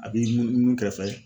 A b'i munu munu kɛ fɛrɛfɛ.